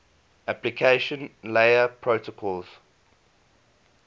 application layer protocols